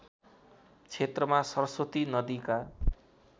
क्षेत्रमा सरस्वती नदीका